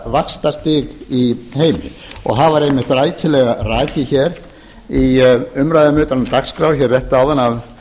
vaxtastig í heimi það var einmitt rækilega rakið hér í umræðum utan dagskrár hér rétt áðan